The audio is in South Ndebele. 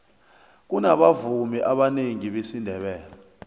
kunabavumi abanengi besindebele